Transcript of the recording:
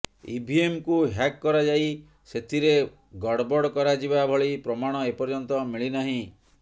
ଇଭିଏମ୍କୁ hack କରାଯାଇ ସେଥିରେ ଗଡ଼ବଡ଼ କରାଯିବା ଭଳି ପ୍ରମାଣ ଏ ପର୍ଯ୍ୟନ୍ତ ମିଳିନାହିଁ